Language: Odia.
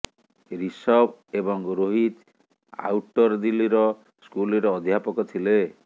ଋଷଭ ଏବଂ ରୋହିତ ଆଉଟର ଦିଲ୍ଲୀର ସ୍କୁଲରେ ଅଧ୍ୟାପକ ଥିଲେ